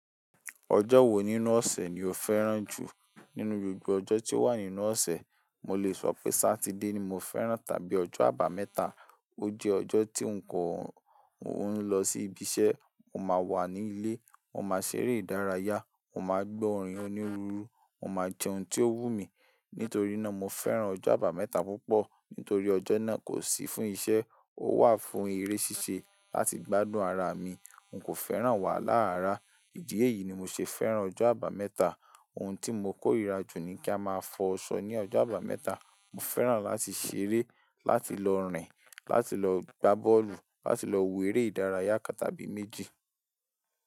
Ọjọ́ wo nínú ọ̀sẹ̀ ni o fẹ́ràn jù? Nínú gbogbo ọjọ́ tí ó wà nínú ọ̀sẹ̀, mo lè sọ pé Sátidé ni mo fẹ́ràn tàbí ọjọ́ àbámẹ́ta. O jẹ́ ọjọ́ tí n ko ń lọ sí ibiṣẹ́, mo máa wà ní ilé, mo máa ṣeré ìdárayá, mo máa gbọ́ orin onírúurú, mo máa jẹ ohun tí ó wù mí. Nítorí náà, mo fẹ́ràn ọjọ́ àbámẹ́ta púpọ̀. Nítorí ọjọ́ náà kò sí fún iṣẹ́, ó wà fún eré ṣíṣe láti gbádùn ara mi. N kò fẹ́ràn wàhálà rara, ìdí èyí ni mo ṣe fẹ́ràn ọjọ́ àbámẹ́ta. Ohun tí mo kó rira jù ni kí a máa fọṣọ ní ọjọ́ àbámẹ́ta. Mo fẹ́ràn láti ṣeré, láti lọ rìn, láti lọ gbá bọ́ọ̀lù, láti lọ wo eré ìdárayá tàbí méjì.